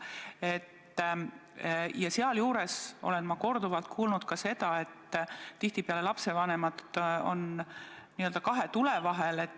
Ja ma olen korduvalt kuulnud ka seda, et tihtipeale on lapsevanemad kahe tule vahel.